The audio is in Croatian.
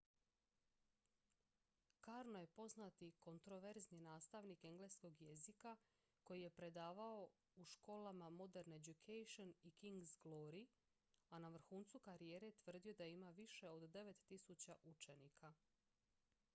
karno je poznati kontroverzni nastavnik engleskog jezika koji je predavao u školama modern education i king's glory a na vrhuncu karijere tvrdio je da ima više od 9.000 učenika